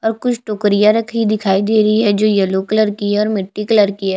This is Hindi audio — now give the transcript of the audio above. और कुछ टोकरियां रखी हुई दिखाई दे रही है जो येलो कलर की है और मिट्टी कलर की है।